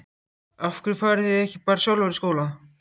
Af hverju fariði ekki bara sjálfar í skóla?